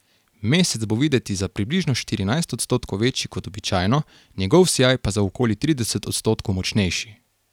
Mesec bo videti za približno štirinajst odstotkov večji kot običajno, njegov sijaj pa za okoli trideset odstotkov močnejši.